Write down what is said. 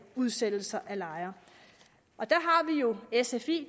udsættelser af lejere og der er sfi